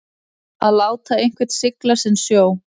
Að láta einhvern sigla sinn sjó